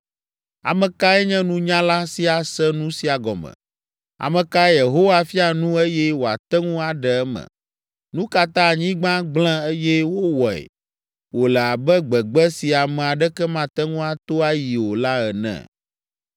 Ame kae nye nunyala si ase nu sia gɔme? Ame kae Yehowa fia nu eye wòate ŋu aɖe eme? Nu ka ta anyigba gblẽ eye wowɔe wòle abe gbegbe si ame aɖeke mate ŋu ato ayi o la ene?